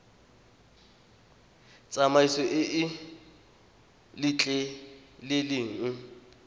tsamaiso e e sa letleleleng